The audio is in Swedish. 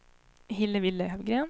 Hillevi Löfgren